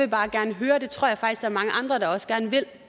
mange andre der også gerne vil